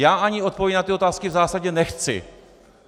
Já ani odpovědi na ty otázky v zásadě nechci.